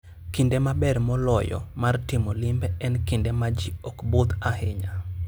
Kinde maber moloyo mar timo limbe en kinde ma ji ok budh ahinya.